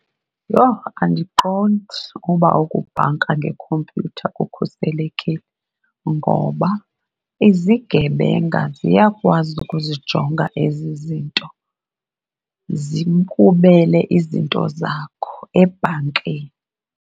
Yho! Andiqondi uba ukubhanka ngekhompyutha kukhuselekile ngoba izigebenga ziyakwazi ukuzijonga ezi zinto zikubele izinto zakho ebhankini.